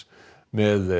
með